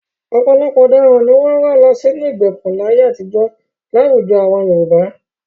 Ọ̀pọ̀ àwọn ọ̀daràn ni wọ́n rán lọ sínú ìgbèkùn láyé àtijọ́ láwùjọ àwọn Yorùbá.